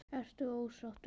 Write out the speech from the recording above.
Ertu ósáttur?